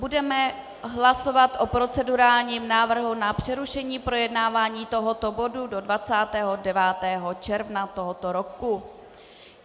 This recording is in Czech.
Budeme hlasovat o procedurálním návrhu na přerušení projednávání tohoto bodu do 29. června tohoto roku.